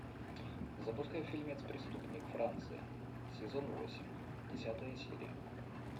запускай фильмец преступник франция сезон восемь десятая серия